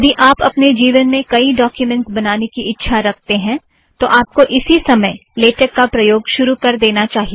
यदि आप अपने जीवन में कईं डॊक्युमेंट्स बनाने की इच्छा रखते हैं तो आपको इसी समय लेटेक का प्रयोग शुरू कर देना चाहिए